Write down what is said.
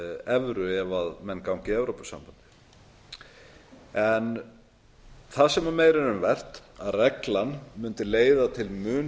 evru ef menn ganga í evrópusambandið en það sem meira er um vert er að reglan mundi leiða til mun